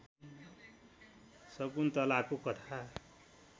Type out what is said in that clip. शकुन्तलाको कथा